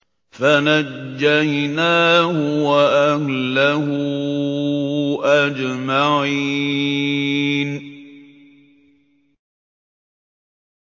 فَنَجَّيْنَاهُ وَأَهْلَهُ أَجْمَعِينَ